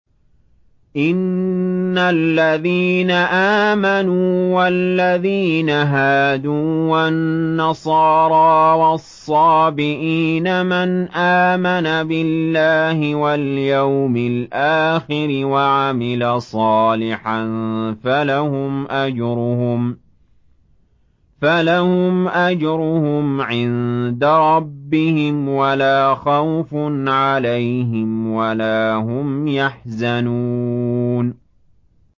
إِنَّ الَّذِينَ آمَنُوا وَالَّذِينَ هَادُوا وَالنَّصَارَىٰ وَالصَّابِئِينَ مَنْ آمَنَ بِاللَّهِ وَالْيَوْمِ الْآخِرِ وَعَمِلَ صَالِحًا فَلَهُمْ أَجْرُهُمْ عِندَ رَبِّهِمْ وَلَا خَوْفٌ عَلَيْهِمْ وَلَا هُمْ يَحْزَنُونَ